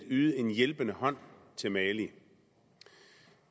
yde en hjælpende hånd til mali